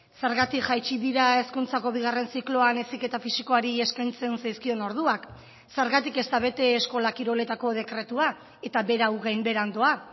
zergatik jaitsi dira hezkuntzako bigarren zikloan heziketa fisikoari eskaintzen zaizkion orduak zergatik ez da bete eskola kiroletako dekretua eta berau gainbeheran doa